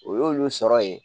O y'olu sɔrɔ yen